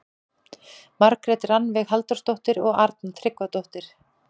Margrét Rannveig Halldórsdóttir og Arna Tryggvadóttir.